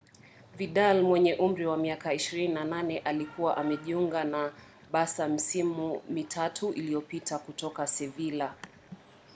vidal mwenye umri wa miaka 28 alikuwa amejiunga na barca misimu mitatu iliyopita kutoka sevilla